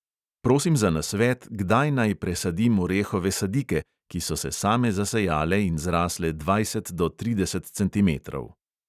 Prosim za nasvet, kdaj naj presadim orehove sadike, ki so se same zasejale in zrasle dvajset do trideset centimetrov.